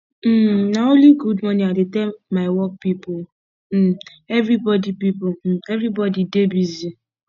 um na only good morning i dey tell my work pipo um everbodi pipo um everbodi dey busy